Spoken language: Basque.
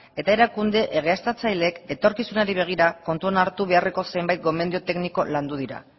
eta erakunde egiaztatzaileek etorkizunari begira kontutan hartu beharreko zenbait gomendio tekniko landu dira